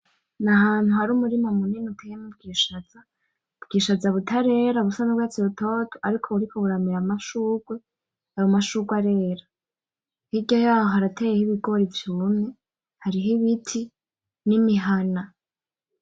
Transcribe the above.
N'ahantu hari umurima munini hateye ubwishaza, ubwishaza butarera busa n'urwarsi rutoto ariko buriko buramera amashurwe ayo mashurwe arera hirya yaho harateyeho ibigori vyumye hariho ibiti n'imihana .